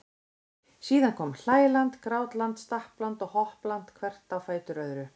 Síðan komu hlæland, grátland, stappland og hoppland hvert á fætur öðru.